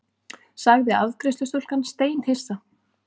sagði afgreiðslustúlkan steinhissa.